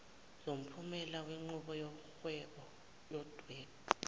somphumela wenqubo yokudweba